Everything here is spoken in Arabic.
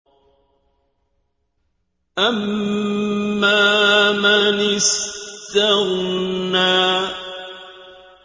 أَمَّا مَنِ اسْتَغْنَىٰ